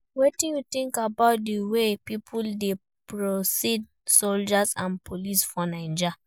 Wetin you think about di way people dey perceive soldiers and police for Naija?